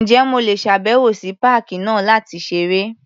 Ǹjẹ́ mo lè ṣàbẹ̀wò sí páàkì náà láti ṣeré?